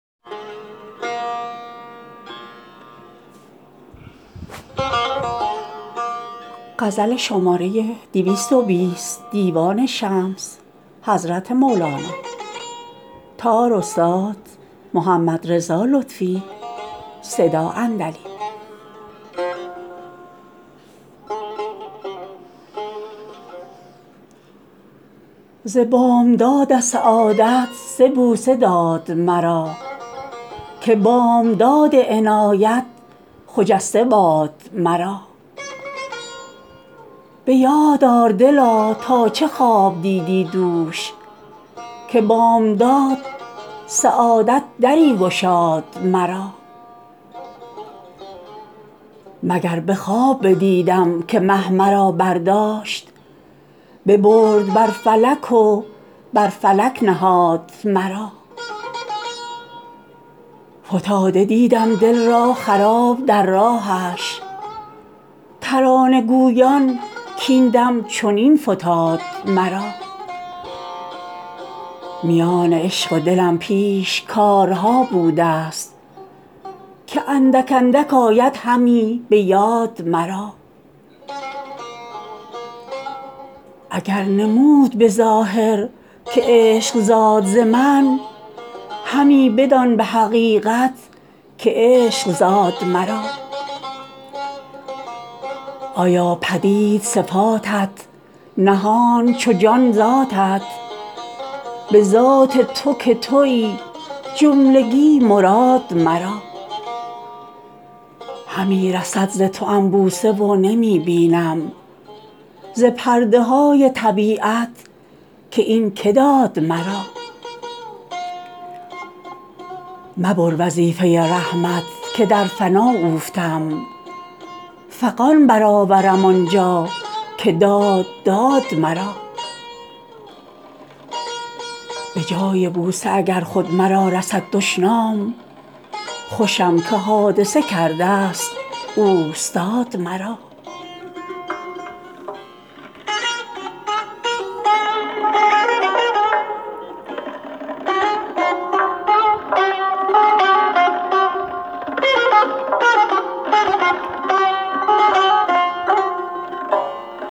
ز بامداد سعادت سه بوسه داد مرا که بامداد عنایت خجسته باد مرا به یاد آر دلا تا چه خواب دیدی دوش که بامداد سعادت دری گشاد مرا مگر به خواب بدیدم که مه مرا برداشت ببرد بر فلک و بر فلک نهاد مرا فتاده دیدم دل را خراب در راهش ترانه گویان کاین دم چنین فتاد مرا میان عشق و دلم پیش کارها بوده ست که اندک اندک آیدهمی به یاد مرا اگر نمود به ظاهر که عشق زاد ز من همی بدان به حقیقت که عشق زاد مرا ایا پدید صفاتت نهان چو جان ذاتت به ذات تو که تویی جملگی مراد مرا همی رسد ز توام بوسه و نمی بینم ز پرده های طبیعت که این کی داد مرا مبر وظیفه رحمت که در فنا افتم فغان برآورم آن جا که داد داد مرا به جای بوسه اگر خود مرا رسد دشنام خوشم که حادثه کرده ست اوستاد مرا